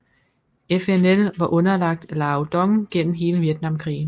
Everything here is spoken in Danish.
FNL var underlagt Lao Dong gennem hele Vietnamkrigen